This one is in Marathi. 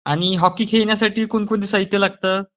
आणि हॉकी खेळण्यासाठी कोणकोणतं साहित्य लागतं?